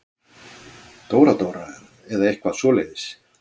Dóra-Dóra eða eitthvað svoleiðis.